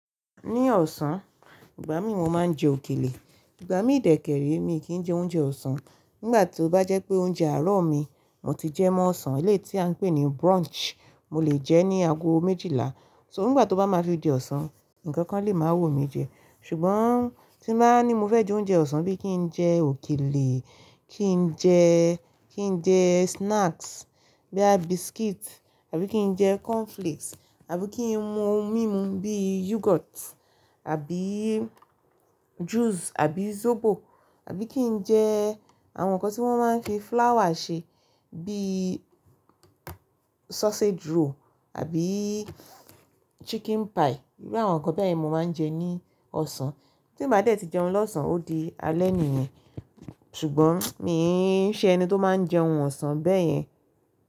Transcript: Ní ọ̀sán, ìgbà mí mo máa ń jẹ òkèlè, ìgbà mi dẹkẹ̀ re mi kì í jẹ oúnjẹ ọ̀sán. Nígbà tí ó bá jẹ́ pé oúnjẹ àárọ̀ mi mo ti jẹ mọ́ ọ̀sán eléétí a ń pè ní brunch, mo lè jẹ ní ago méjìlá. So nígbà tí ó bá máa fi di ọ̀sán, nǹkan kan lè máa wu mí jẹ. Ṣùgbọ́n tí mo bá ní mo fẹ́ jẹ oúnjẹ ọ̀sán bí i kí n jẹ òkèlè, kí n jẹ́, kí n jẹ́ snacks boya biscuit, àbí kí n jẹ cornflakes, àbí kí n mú ohun mímu bíi yogurt, àbí juice, àbí zobo, àbí kí n jẹ àwọn nǹkan tí wọ́n máa ń fi flour ṣe bíi sausage roll, àbí chicken pie. Irú àwọn nǹkan bẹ́ẹ̀ ni mo máa ń jẹ ní ọ̀sán. Tí mo bá dẹ̀ tí jẹun lọ́sàn-án, ó di alẹ́ nìyen. Ṣùgbọ́n mí n ṣe ẹni tó máa ń jẹun ọ̀sán bẹ́yẹn.